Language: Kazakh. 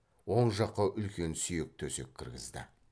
оң жаққа үлкен сүйек төсек кіргізді